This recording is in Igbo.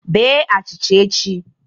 Bee achịcha echi